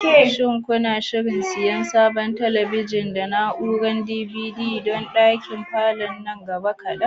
Shin kuna shirin siyan sabon talabijin da na'urar DVD don ɗakin falon nan gaba kaɗan?